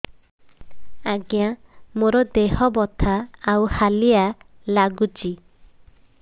ଆଜ୍ଞା ମୋର ଦେହ ବଥା ଆଉ ହାଲିଆ ଲାଗୁଚି